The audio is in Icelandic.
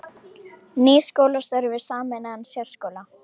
Nýr skólastjóri við sameinaðan sérskóla